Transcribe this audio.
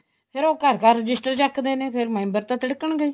ਫ਼ੇਰ ਉਹ ਘਰ ਘਰ ਰਜਿਸਟਰ ਚੱਕਦੇ ਨੇ ਫ਼ੇਰ member ਤਾਂ ਤਿੜਕਣ ਗਏ ਹੀ